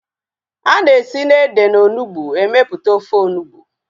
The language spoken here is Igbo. Ana esi na ede na onugbu emeputa ofe onugbu